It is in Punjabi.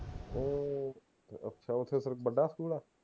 ਅਹ ਅੱਛਾ ਓਥੇ ਫੇਰ ਵੱਡਾ ਸਕੂਲ ਆ